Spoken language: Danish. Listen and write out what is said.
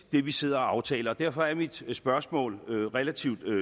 det vi sidder og aftaler og derfor er mit spørgsmål relativt